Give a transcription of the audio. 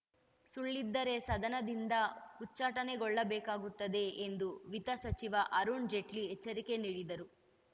ಸುಳ್ಳಿದ್ದರೆ ಸದನದಿಂದ ಉಚ್ಚಾಟನೆಗೊಳ್ಳಬೇಕಾಗುತ್ತದೆ ಎಂದು ವಿತ್ತ ಸಚಿವ ಅರುಣ್‌ ಜೇಟ್ಲಿ ಎಚ್ಚರಿಕೆ ನೀಡಿದರು